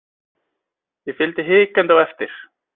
Ég fylgdi hikandi á eftir.